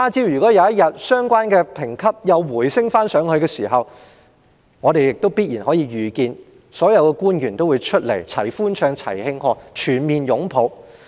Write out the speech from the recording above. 如果有一天相關的評級再次回升，我們可以預見所有官員必然會站在一起齊歡唱、齊慶賀，全面擁抱。